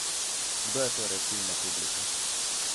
Kdo je torej ciljna publika?